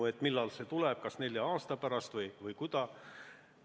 Ta küsis, millal see tuleb, kas nelja aasta pärast või millal.